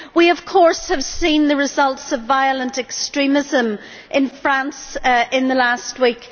We of course have seen the results of violent extremism in France in the last week.